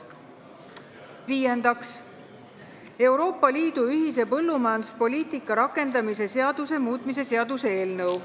Viiendaks, Euroopa Liidu ühise põllumajanduspoliitika rakendamise seaduse muutmise seaduse eelnõu.